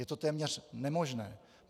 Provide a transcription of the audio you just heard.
Je to téměř nemožné.